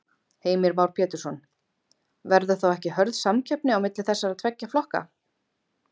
Heimir Már Pétursson: Verður þá ekki hörð samkeppni á milli þessara tveggja flokka?